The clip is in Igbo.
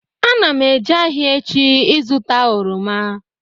Ana m eje ahịa echi ịzụta oroma